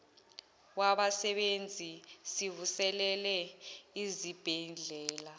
wabasebenzi sivuselele izibhedlela